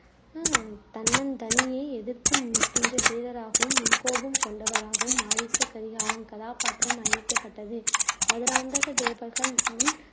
ஹம் தன்னந்தனியே எதிர்த்து நிற்கின்ற வீரராகவும், முன்கோபம் கொண்டவராகவும் ஆதித்த கரிகாலன் கதாபாத்திரம் அமைக்கப்பட்டது. மதுராந்தக தேவர்கள் உம்